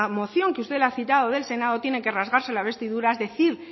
moción que usted ha citado del senado tienen que rasgarse la vestiduras decir